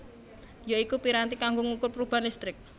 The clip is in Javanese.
ya iku piranti kanggo ngukur perubahan listrik